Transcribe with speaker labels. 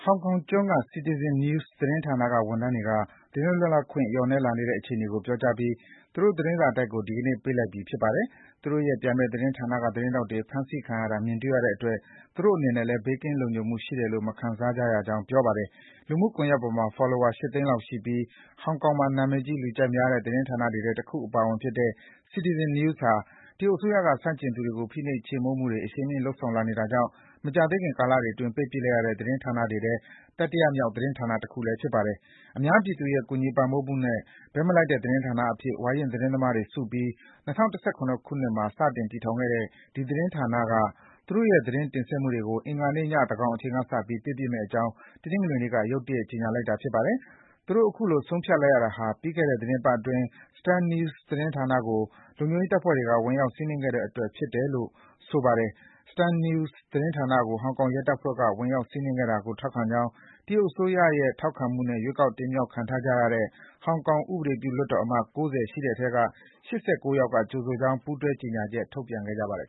Speaker 1: ောင်ကောင်ကျွန်းက CitizenNews သတင်းဌာနဝန်ထမ်းတွေက သတင်းလွတ်လပ်ခွင့် လျော့နည်းလာတဲ့အခြေအနေကို ပြောကြားပြီး သူတို့ သတင်းစာတိုက်ကို ဒီကနေ့ ပိတ်လိုက်ပြီ ဖြစ်ပါတယ်။ သူတို့ရဲ့ပြိုင်ဘက်သတင်းဌာနက သတင်းထောက်တွေ ဖမ်းဆီးခံရတာ မြင်တွေ့ရတဲ့အတွက် သူတို့အနေနဲ့လည်း ဘေးကင်း လုံခြုံမှုရှိတယ်လို့ မခံစားရကြောင်း ပြောပါတယ်။ လူမှုကွန်ယက်ပေါ်မှာ Follower ၈ သိန်းလောက်ရှိပြီး ဟောင်ကောင်မှာ နံမည်ကြီး လူကြိုက်များတဲ့ သတင်းဌာနတွေထဲ တခုအပါအဝင်ဖြစ်တဲ့ CitizenNews ဟာ တရုတ်အစိုးရက ဆန့်ကျင်သူတွေကို ဖိနှိပ် ချေမှုန်းမှုတွေ အရှိန်မြှင့်လုပ်ဆောင်လာနေတာကြောင့် မကြာသေးခင် ကာလတွေအတွင်း ပိတ်ပစ်လိုက်ရတဲ့ သတင်းဌာနတွေထဲ တတိယမြောက် သတင်းဌာနဖြစ်ပါတယ်။ အများပြည်သူရဲ့ ကူညီပံ့ပိုးမှုနဲ့ ဘက်မလိုက်တဲ့ သတင်းဌာနအဖြစ် ဝါရင့်သတင်းသမားတွေစုပြီး ၂၀၁၇ မှာ စတင် တည်ထောင်ခဲ့တဲ့ ဒီသတင်းဌာနက သူတို့ရဲ့ သတင်းတင်ဆက် မှုတွေကို အင်္ဂါနေ့ည သန်းခေါင်အချိန်ကစပြီး ပိတ်ပစ်မယ့်အကြောင်း တနင်္ဂနွေနေ့က ရုတ်တရက် ကြေညာလိုက်တာပါ။ သူတို့ အခုလို ဆုံးဖြတ်လိုက်ရတာဟာ ပြီးခဲ့တဲ့ သီတင်းပတ်အတွင်း Stand News သတင်းဌာနကို လုံခြုံရေးတပ်ဖွဲ့တွေက ဝင်ရောက် စီးနင်းခဲ့တဲ့အတွက် ဖြစ်တယ်ဆိုတာကို ဆိုပါတယ်။ Stand News သတင်းဌာနကို ဟောင်ကောင်ရဲတပ်ဖွဲ့က ဝင်ရောက်စီးနင်းခဲ့တာကို ထောက်ခံကြောင်း တရုတ်အစိုးရရဲ့ ထောက်ခံမှုနဲ့ ရွေးကောက် တင်မြှောက်ခံထားကြတဲ့ ဟောင်ကောင် ဥပဒေပြုလွှတ်တော်အမတ် ၉၀ ရှိတဲ့အထဲက ၈၉ ယောက်က ကြိုဆိုကြောင်း ပူးတွဲ ကြေညာချက် ထုတ်ပြန်ခဲ့ပါတယ်